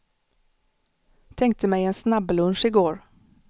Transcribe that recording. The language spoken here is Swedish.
Tänkte mig en snabblunch i går.